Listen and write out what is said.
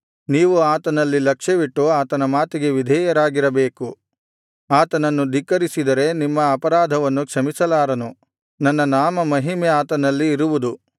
ನೀವು ಆತನಲ್ಲಿ ಲಕ್ಷ್ಯವಿಟ್ಟು ಆತನ ಮಾತಿಗೆ ವಿಧೇಯರಾಗಿರಬೇಕು ಆತನನ್ನು ಧಿಕ್ಕರಿಸಿದರೆ ನಿಮ್ಮ ಅಪರಾಧವನ್ನು ಕ್ಷಮಿಸಲಾರನು ನನ್ನ ನಾಮಮಹಿಮೆ ಆತನಲ್ಲಿ ಇರುವುದು